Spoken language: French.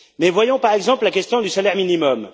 Mais voyons, par exemple, la question du salaire minimum.